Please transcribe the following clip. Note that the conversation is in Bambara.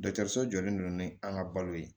Dɔkitɛriso jɔlen don ni an ka balo ye